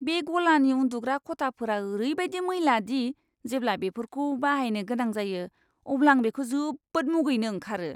बे गलानि उन्दुग्रा खथाफोरा ओरैबायदि मैला दि जेब्ला बेफोरखौ बाहायनो गोनां जायो, अब्ला आं बेखौ जोबोद मुगैनो ओंखारो।